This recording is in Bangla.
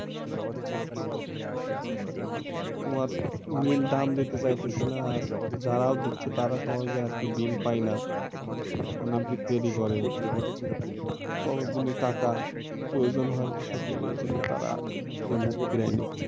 তোমার মিল দাম দিতে চাইতেছে না আর যারাও দিচ্ছে তারা সহজে আর কি বিল পাই না অনেকদিন দেরি করে ততদিনে টাকার প্রয়োজন হয় একিসঙ্গে ওই জন্যে তারা ওই দিক থেকে মুখ ফিরায়ে নিচ্ছে।